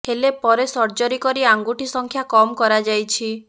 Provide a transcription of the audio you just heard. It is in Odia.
ହେଲେ ପରେ ସର୍ଜରୀ କରି ଆଙ୍ଗୁଠି ସଂଖ୍ୟା କମ୍ କରାଯାଇଛି